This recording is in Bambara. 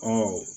Ɔ